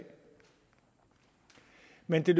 men det